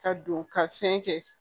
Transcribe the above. Ka don ka fɛn kɛ